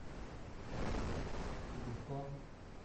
зубко